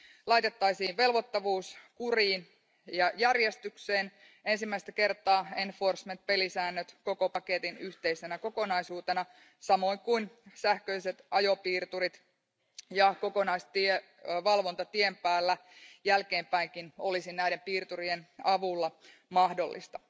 Laitettaisiin velvoittavuus kuriin ja järjestykseen ensimmäistä kertaa enforcement pelisäännöt koko paketin yhteisenä kokonaisuutena samoin kuin sähköiset ajopiirturit, ja kokonaisvalvonta tien päällä jälkeenpäinkin olisi näiden piirturien avulla mahdollista.